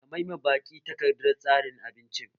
Ka mai ma baki takardar tsarin abinci!